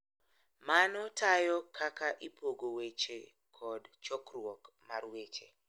Mano tayo kaka ipogo weche kod chokruok mar weche.